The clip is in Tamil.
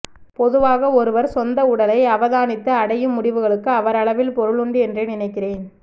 பொதுவாக ஒருவர் சொந்த உடலை அவதானித்து அடையும் முடிவுகளுக்கு அவரளவில் பொருளுண்டு என்றே நினைக்கிறேன்